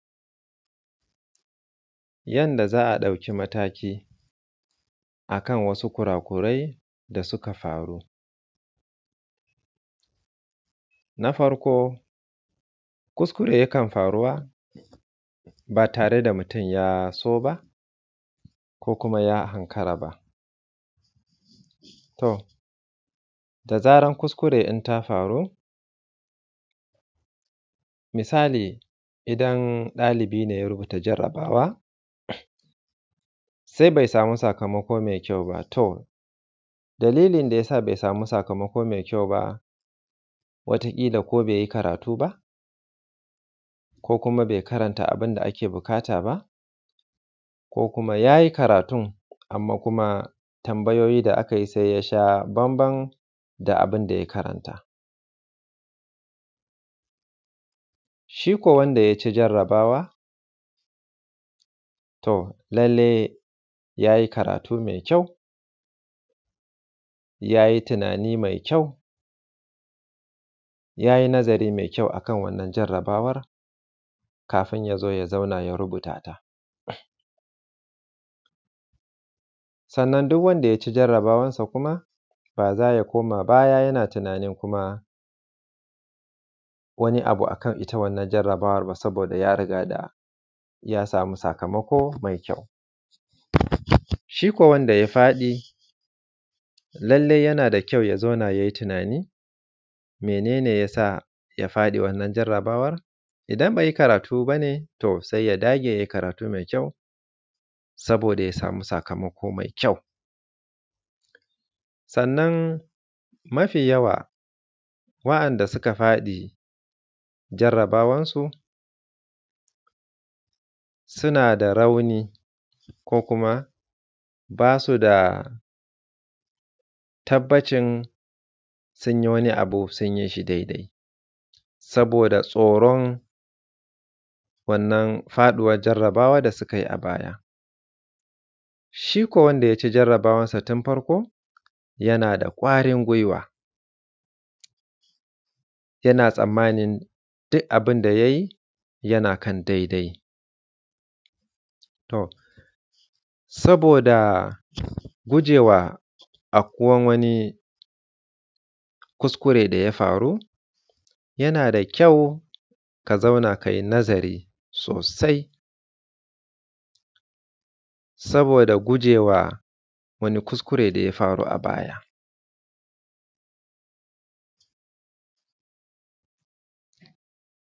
Yanda za a ɗauki mataki a kan wasu kura kurai da suka faru. Na farko kuskuren da yake faruwa ba tare da mutum ya so ba, ko kuma ya ankara ba. To da zarar kuskure ɗin ta faru, misali idan ɗalibi ne ya rubuta jarabawa sai bai samu sakamako mai kyau ba, to dalilin da ya sa bai samu sakamako mai kyau ba wata ƙila ko bai yi karatu ba, ko kuma bai karanta abun da ake buƙata ba, ko kuma yayi karatun, amman kuma tambayoyi da aka yi sai ya sha bambam da abun da ya karanta. Shi ko wanda ya ci jarabawa to lallai ya yi karatu mai kyau, ya yi tunani mai kyau, yayi nazari mai kyau a kan wannan jarabawan kafin ya zo ya zauna ya rubuta ta. Sannan duk wanda ya ci jarabawansa kuma ba za ya koma ba ya yana tunanin kuma wani abu akan wannan jarabawar ba saboda ya riga da ya samu sakamako mai kyau. Shi ko wanda ya faɗi lallai yana da kyau ya zauna yai tunani mene yasa ya faɗi wannan jarabawan, idan bai yi karatu ba ne to sai ya dage yayi karatun da kyau saboda ya samu sakamako mai kyau. Sannan mafi yawa waɗanda suka faɗi jarabawansu, suna da rauni ko kuma ba su da tabbacin su yi wani abu sun yi shi dai dai, saboda tsoron wannan faɗuwan jarabawa da su kai a baya. Shi ko wanda ya ci jarabawansa tun farko yana da ƙwarin guiwa yana tsammanin duk abun da yayi yana kan dai dai. To saboda gujewa aukuwan wani kuskuren da ya faru yana da kyau ka zauna kai nazari sosai saboda gujewa wani kuskure da ya faru a baya.